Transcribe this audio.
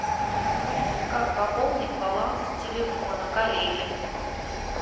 как пополнить баланс телефона коллеги